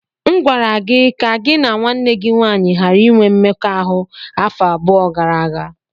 M gwara gị ka gị na nwanne gị nwanyị ghara inwe mmekọahụ afọ abụọ gara aga!